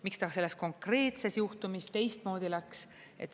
Miks ta selles konkreetses juhtumis teistmoodi läks?